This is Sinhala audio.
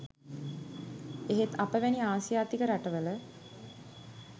එහෙත් අප වැනි ආසියාතික රට වල